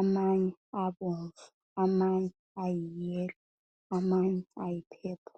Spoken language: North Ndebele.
,amanye abomvu amanye ayi yellow amanye ayi purple